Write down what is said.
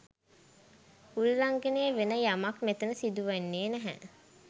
උල්ලංඝනය වෙන යමක් මෙතන සිදු වෙන්නේ නැහැ